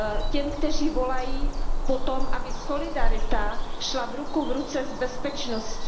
Těm, kteří volají po tom, aby solidarita šla ruku v ruce s bezpečností.